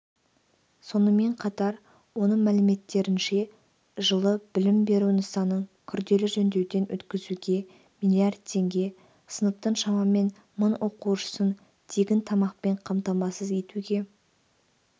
сонымен қатар оның мәліметтерінше жылы білім беру нысанын күрделі жөндеуден өткізуге млрд теңге сыныптың шамамен мың оқушысын тегін тамақпен қамтамасыз етуге